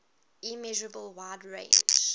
immeasurable wide range